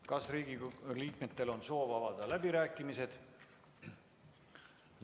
Kas Riigikogu liikmetel on soovi avada läbirääkimised?